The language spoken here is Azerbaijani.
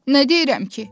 nə deyirəm ki?